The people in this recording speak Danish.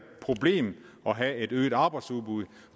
problem at have et øget arbejdsudbud